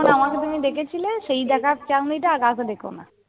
আমাকে তুমি দেখেছিলে, সেই দেখার চাউনিটা আর কাউকে দেখোনা।